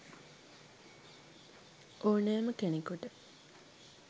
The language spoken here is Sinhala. ඕනෑම කෙනකුට